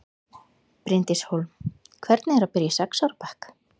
Bryndís Hólm: Hvernig er að byrja í sex ára bekk?